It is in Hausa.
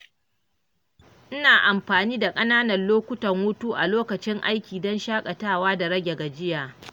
Ina amfani da ƙananan lokutan hutu a lokacin aiki don shakatawa da rage gajiya.